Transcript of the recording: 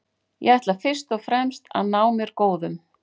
Ég ætla fyrst og fremst að ná mér góðum.